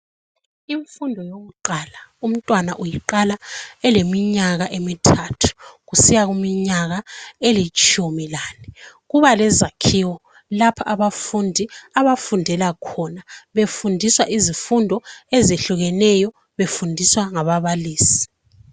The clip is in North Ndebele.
Imfundo yokuqala umntwana uyiqala eleminyaka emithathu kusiya kuminyaka elitshumi lane. Kuba lezakhiwo lapha abafundi abafundela khona, befundiswa izifundo ezehlukeneyo, befundiswa ngababalisi.